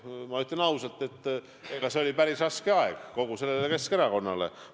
Ma ütlen ausalt, et see oli päris raske aeg kogu Keskerakonnale.